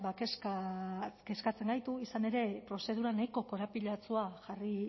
kezkatzen gaitu izan ere prozedura nahiko korapilatsua jarri